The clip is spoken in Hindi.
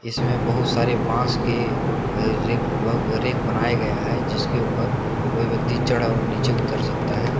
इसमें बहुत सारे बांस के रैक बनाया गया है जिसके ऊपर कोई व्यक्ति चढ़ और नीचे उतर सकता है।